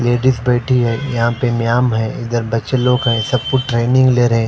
ladies बैठी है यहां पे म्यांम है इधर बच्चे लोग है सब कु ट्रेनिंग ले रहे--